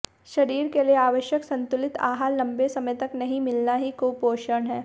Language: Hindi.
शरीर के लिए आवश्यक संतुलित आहार लंबे समय तक नहीं मिलना ही कुपोषण है